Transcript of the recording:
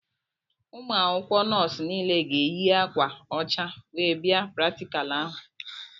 Ụmụ akwụkwọ nọọsụ niile ga-eyi akwa ọcha wee bia praktikal ahụ.